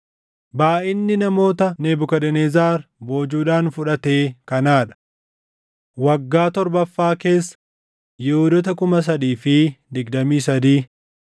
Baayʼinni namoota Nebukadnezar boojuudhaan fudhatee kanaa dha: Waggaa torbaffaa keessa Yihuudoota 3,023;